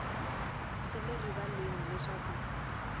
swi le rivaleni leswaku ku